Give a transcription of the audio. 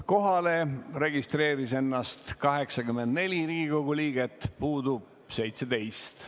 Kohalolijaks registreeris ennast 84 Riigikogu liiget, puudub 17.